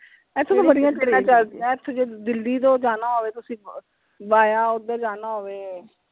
ਇਥੋਂ ਤਾਂ ਬੜੀਆਂ trains ਚਲਦਿਆਂ ਇਥੋਂ ਜੇ ਦਿੱਲੀ ਤੋਂ ਜਾਣਾ ਹੋਵੇ via ਓਧਰ ਜਾਣਾ ਹੋਵੇ।